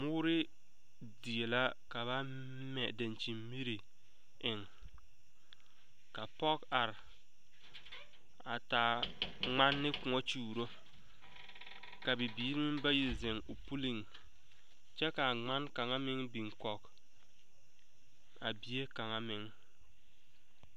Bɔɔre die la ka ba mɛ daŋkyinmire eŋ ka pɔge are a taa ŋman ne koɔ kyuuro ka bibiiri meŋ bayi ziŋ o puliŋ kyɛ ka a ŋmane kaŋa meŋ biŋ kɔg a bie kaŋa meŋ.